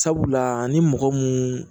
Sabula ni mɔgɔ mun